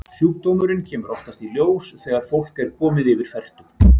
Sjúkdómurinn kemur oftast í ljós þegar fólk er komið yfir fertugt.